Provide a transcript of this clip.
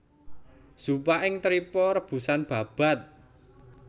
Zuppa ing trippa rebusan babat